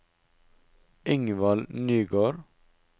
Ingvald Nygård